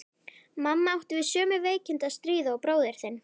Mamma átti við sömu veikindi að stríða og bróðir þinn.